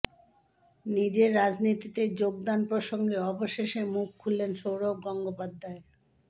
নিজের রাজনীতিতে যোগদান প্রসঙ্গে অবশেষে মুখ খুললেন সৌরভ গঙ্গোপাধ্যায়